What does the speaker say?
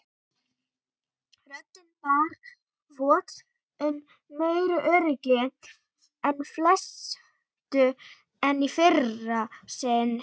Röddin bar vott um meiri öryggi og festu en í fyrra sinnið.